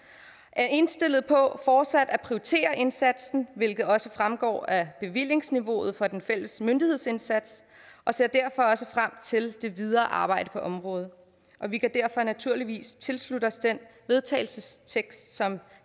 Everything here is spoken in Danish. er indstillet på fortsat at prioritere indsatsen hvilket også fremgår af bevillingsniveauet for den fælles myndighedsindsats og ser derfor også frem til det videre arbejde på området vi kan derfor naturligvis tilslutte os den vedtagelsestekst som